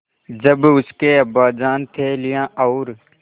जब उसके अब्बाजान थैलियाँ और